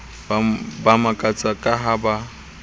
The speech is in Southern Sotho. ba makatsa ka ha ba